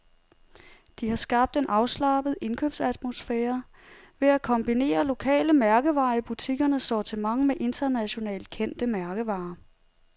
De har skabt en afslappet indkøbsatmosfære ved at kombinere lokale mærkevarer i butikkernes sortiment med internationalt kendte mærkevarer.